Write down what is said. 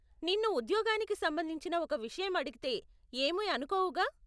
నిన్ను ఉద్యోగానికి సంబంధించిన ఒక విషయం అడిగితే ఏమీ అనుకోవుగా?